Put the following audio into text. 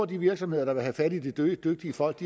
de virksomheder der vil have fat i de dygtige folk